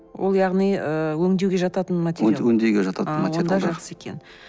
ол яғни ы өңдеуге жататын материал өңдеуге жататын жақсы екен